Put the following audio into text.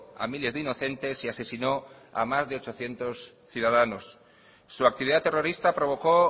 a miles de inocentes y asesinó a más de ochocientos ciudadanos su actividad terrorista provocó